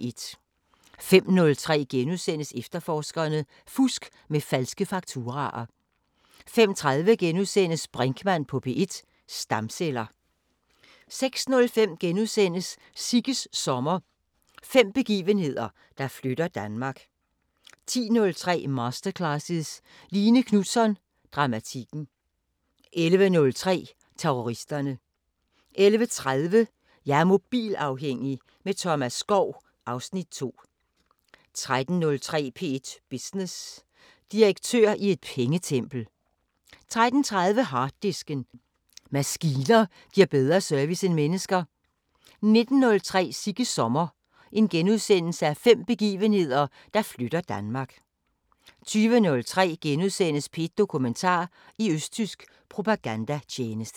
05:03: Efterforskerne: Fusk med falske fakturaer * 05:30: Brinkmann på P1: Stamceller * 06:05: Sigges sommer – fem begivenheder, der flytter Danmark * 10:03: Masterclasses – Line Knutzon: Dramatikken 11:03: Terroristerne 11:30: Jeg er mobilafhængig – med Thomas Skov (Afs. 2) 13:03: P1 Business: Direktør i et pengetempel 13:30: Harddisken: Maskiner giver bedre service end mennesker 19:03: Sigges sommer – fem begivenheder, der flytter Danmark * 20:03: P1 Dokumentar: I østtysk propagandatjeneste *